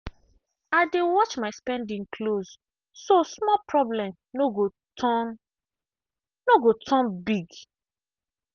i dey watch my spending close so small problem no go turn no go turn big.